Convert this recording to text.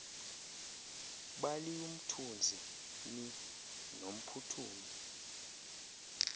baliumthunzi ni nomphuthumi